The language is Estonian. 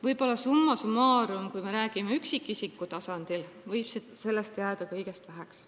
Kuid summa summarum, üksikisiku tasandil rääkides, võib sellest kõigest jääda väheks.